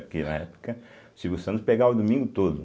Porque na época, o Silvio Santos pegava o domingo todo.